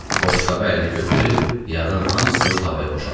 Boşqabı əlinə götürüb yağın hamısını tavaya boşaltdı.